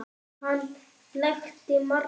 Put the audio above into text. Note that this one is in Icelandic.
Hann blekkti marga.